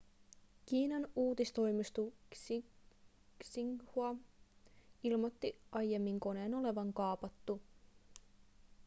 kiinan uutistoimisto xinhua ilmoitti aiemmin koneen olevan kaapattu